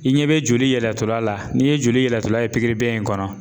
I ɲɛ bɛ joli yɛlɛtɔla la n'i ye joli yɛlɛlatɔla ye in kɔnɔ.